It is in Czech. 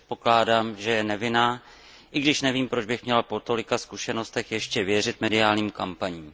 Předpokládám, že je nevinná, i když nevím, proč bych měl po tolika zkušenostech ještě věřit mediálním kampaním.